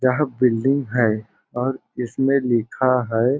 यहाँ बिल्डिंग है और इसमें लिखा है।